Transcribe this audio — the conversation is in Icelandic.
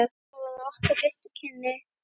Svona voru okkar fyrstu kynni.